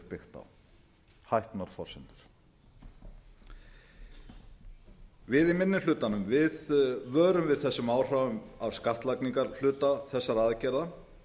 sem hér er byggt á við í minni hlutanum vörum við þessum áhrifum af skattlagningarhluta þessara aðgerða